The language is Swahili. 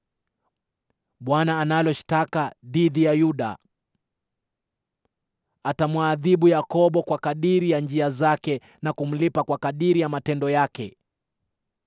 Bwana analo shtaka dhidi ya Yuda, atamwadhibu Yakobo kwa kadiri ya njia zake na kumlipa kwa kadiri ya matendo yake.